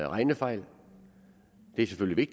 regnefejl det er selvfølgelig